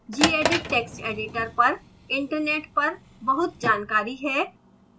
gedit text editor पर internet पर बहुत जानकारी है